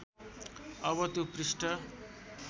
अब त्यो पृष्ठ